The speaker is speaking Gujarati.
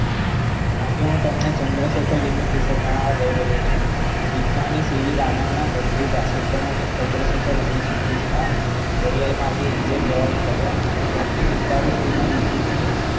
આજે હું તમને ચંદ્રશેખર લીમીટ વિશે જણાવવા જઈ રહ્યો છુ બીક્નાની સીવી રાવણના ભત્રીજા સુભ્ર્મન્યમ ચન્દ્રશેખર ઓગણીસો છત્રીસમાં દરિયાઈ માર્ગે England જવા નીકળ્યા અને તેમની ઉતારું steamer Egypt ની